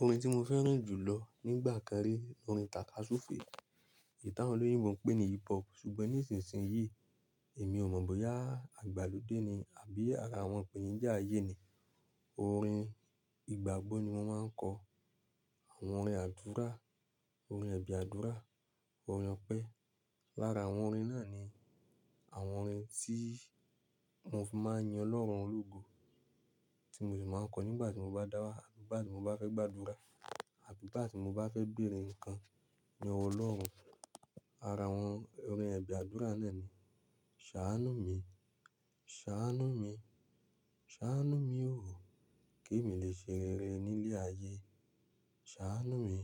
Orin tí mo fẹ́ràn jù lọ nígbà kan rí, orin tàkasúfèé. Eyi ti àwon olóyinbo ń pè ní hip hop. Ṣùgbọ́n nísinsìnyí èmi ò mọ̀ bóyá igbàlódé ni àbí ara àwọn ipẹ̀nijá ayé ni. Orin ìgbàgbọ́ ni wọ́n máa ń kọ. Àwọn orin àdúrà, orin ẹ̀bi àdúrà, ọ̀rin opẹ́. Lára àwọn orin náà ni àwọn orin tí mo fi máa ń yin Ọlọ́run lógo tí mo sì máa ń kọ nígbà tí mo bá dáwà, àbí ígbà tí mo bá fẹ́ gbàdúrà àbí ígbà tí mo bá fẹ́ béèrè ǹkan ní ọwọ́ Ọlọ́run. Ara àwọn orin ẹ̀bi àdúrà náà ni, ṣàánú mi, ṣàánú mi, ṣàánú mi o, kí n lè ṣerere ní ilé ayé. Ṣàánú mi,